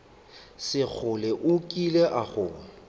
sekgole o kile a go